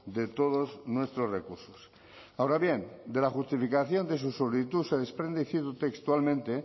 de todos nuestros recursos ahora bien de la justificación de su solicitud se desprende y cito textualmente